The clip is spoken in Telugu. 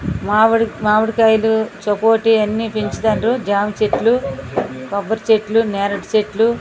మామిడికాయలు సపోటా ఇవ్వన్ని పెంచుతున్నారు జామ చెట్లు కొబ్బరి చెట్లు నేరుడు చెట్లు --